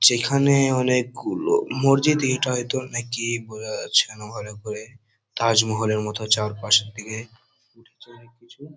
যেখানে অনেকগুলো মসজিদই এটা হয়তো নাকি বোঝা যাচ্ছে না ভালো করে তাজমহলের মতো চারপাশের দিকে ।